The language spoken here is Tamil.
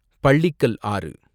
பள்ளிக்கல் ஆறு